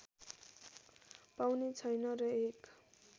पाउने छैन र एक